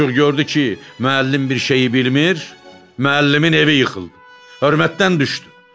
Cooq gördü ki, müəllim bir şeyi bilmir, müəllimin evi yıxıldı, hörmətdən düşdü.